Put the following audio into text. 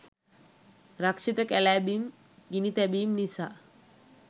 රක්ෂිත කැලෑ බිම් ගිනි තැබීම් නිසා